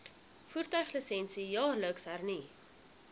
voertuiglisensie jaarliks hernu